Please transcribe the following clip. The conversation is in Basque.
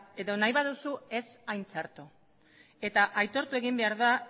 edo nahi baduzu ez hain txarto eta aitortu egin behar da